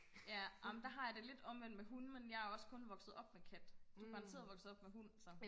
ja ej men der har jeg det lidt omvendt med hunde men jeg er også kun vokset op med kat du er garanteret vokset om med hund så